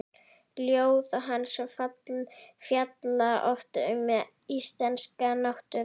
Ljóð hans fjalla oft um íslenska náttúru.